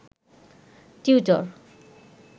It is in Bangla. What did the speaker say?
টিউটর